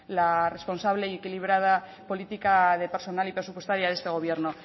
la responsable y equilibrada política de personal y presupuestaria de este gobierno